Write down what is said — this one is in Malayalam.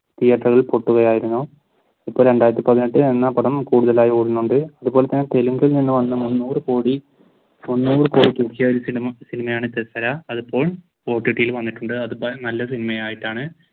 തിയേറ്ററിൽ പൊട്ടുക ആയിരുന്നു. ഇപ്പോൾ രണ്ടായിരത്തി പതിനെട്ട് എന്ന പടം കൂടുതലായി ഓടുന്നുണ്ട് അതുപോലെ തന്നെ വന്ന മൂന്നൂർ കോടി സിനിമയാണ് അതിപ്പോൾ വന്നിട്ടുണ്ട് അത് നല്ല സിനിമയായിട്ടാണ്